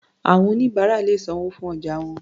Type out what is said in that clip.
Àwọn oníbàárà lè sanwó fún ọjà wọn.